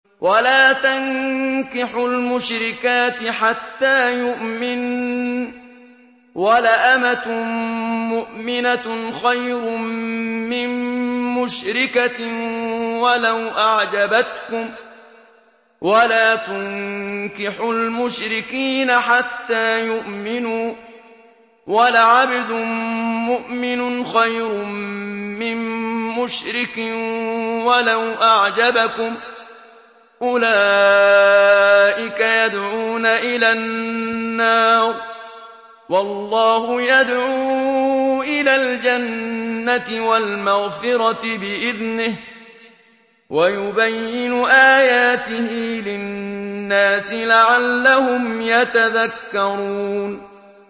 وَلَا تَنكِحُوا الْمُشْرِكَاتِ حَتَّىٰ يُؤْمِنَّ ۚ وَلَأَمَةٌ مُّؤْمِنَةٌ خَيْرٌ مِّن مُّشْرِكَةٍ وَلَوْ أَعْجَبَتْكُمْ ۗ وَلَا تُنكِحُوا الْمُشْرِكِينَ حَتَّىٰ يُؤْمِنُوا ۚ وَلَعَبْدٌ مُّؤْمِنٌ خَيْرٌ مِّن مُّشْرِكٍ وَلَوْ أَعْجَبَكُمْ ۗ أُولَٰئِكَ يَدْعُونَ إِلَى النَّارِ ۖ وَاللَّهُ يَدْعُو إِلَى الْجَنَّةِ وَالْمَغْفِرَةِ بِإِذْنِهِ ۖ وَيُبَيِّنُ آيَاتِهِ لِلنَّاسِ لَعَلَّهُمْ يَتَذَكَّرُونَ